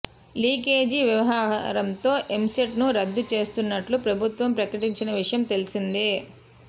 leakage వ్యవహారం తో ఎంసెట్ ను రద్దు చేస్తున్నట్లు ప్రభుత్వం ప్రకటించిన విషయం తెలిసిందే